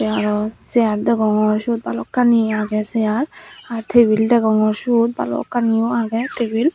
araw sear dogongor sot balokkani aage sear ar tebil degongor sot balokkani yo aage tebil